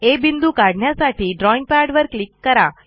आ बिंदू काढण्यासाठी ड्रॉईंगपॅडवर क्लिक करा